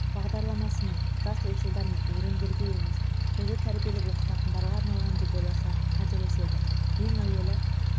бағдарламасының жас ойшылдар мен өрендерге емес бізді тәрбиелеп оқытатындарға арналған деп ойласа қателеседі ең әуелі